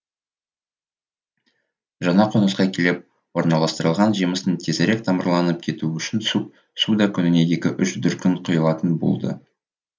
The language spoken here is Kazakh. жаңа қонысқа келіп орналастырылған жемістің тезірек тамырланып кетуі үшін су да күніне екі үш дүркін құйылатын болды